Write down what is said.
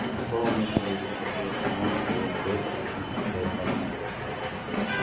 словом нужно выяснить какую команду даёт дейв перед тем как теряет память